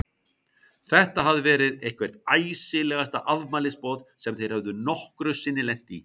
Þetta hafði verið eitthvert æsilegasta afmælisboð sem þeir höfðu nokkru sinni lent í.